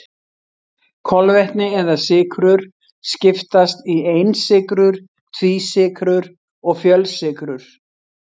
Kolvetni eða sykrur skiptast í einsykrur, tvísykrur og fjölsykrur.